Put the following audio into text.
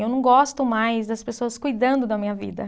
Eu não gosto mais das pessoas cuidando da minha vida.